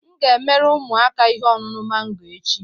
M ga-emere ụmụaka ihe ọṅụṅụ mango echi